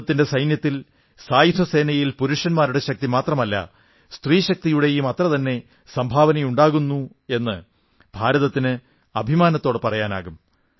ഭാരതത്തിന്റെ സൈന്യത്തിൽ സായുധസേനയിൽ പുരുഷശക്തിയുടെ മാത്രമല്ല സ്ത്രീശക്തിയുടെയും അത്രതന്നെ സംഭാവന ഉണ്ടാകുന്നു എന്ന് ഭാരതത്തിന് അഭിമാനത്തോടെ പറയാനാകും